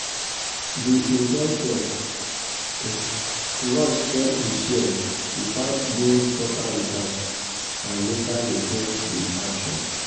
the investor rush sell him shares without doing proper research and later regret the action.